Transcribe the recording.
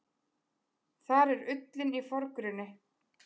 Þar er ullin í forgrunni.